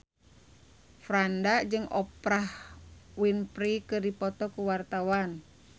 Franda jeung Oprah Winfrey keur dipoto ku wartawan